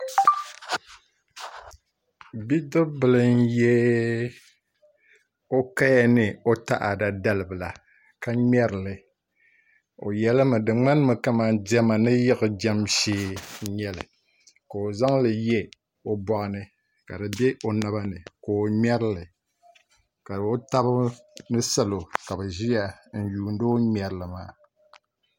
Bidib bili n yɛ o kaya ni taada dalibila ka ŋmɛrili o yɛlimi di ŋmanimi kamani diɛma ni yiɣijɛm shee n nyɛli ka o zaŋli yɛ o boɣa ni ka di bɛ o naba ni ka o ŋmɛrili ka o tabi ni salo ka bi ʒiya n yuundi o ni ŋmɛrili maa